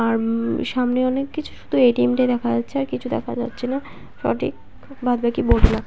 আর উম- সামনে অনেক কিছু শুধু এ.টি.এম. টা দেখা যাচ্ছে আর কিছু দেখা যাচ্ছে না সঠিক বাদ বাকি বদলা--